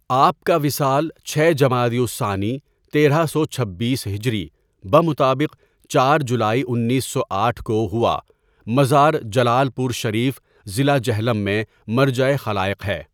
آپ کا وصال چھ جمادی الثانی تیرہ سو چھبیس ہجری بمطابق چار جولائی انیس سو آٹھ کو ہوا مزار جلالپور شریف ضلع جہلم میں مرجع خَلائق ہے.